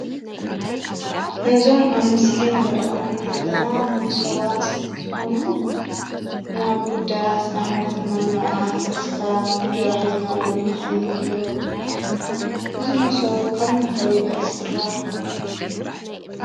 እዞም አብ ምስሊ እንሪኦም ዘለና ሞሶባት እንትኾኑ ናብ ጉዳያት ንአብነት ናብ መርዓ ፣ተስካር እንጀራ ሒዝናሎም ንኸይድ እዩም። እዚ መሶብ ካብ ምንታይ ኸ ይስራሕ?